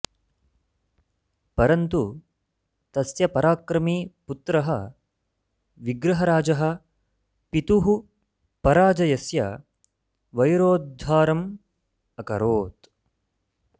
परन्तु तस्य पराक्रमी पुत्रः विग्रहराजः पितुः पराजयस्य वैरोद्धारम् अकरोत्